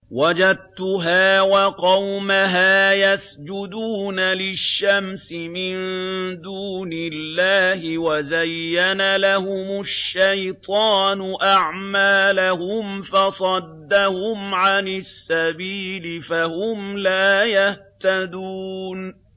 وَجَدتُّهَا وَقَوْمَهَا يَسْجُدُونَ لِلشَّمْسِ مِن دُونِ اللَّهِ وَزَيَّنَ لَهُمُ الشَّيْطَانُ أَعْمَالَهُمْ فَصَدَّهُمْ عَنِ السَّبِيلِ فَهُمْ لَا يَهْتَدُونَ